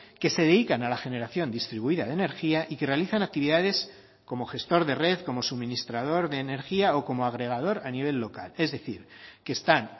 que se dedican a la generación distribuida de energía y que realizan actividades como gestor de red como suministrador de energía o como agregador a nivel local es decir que están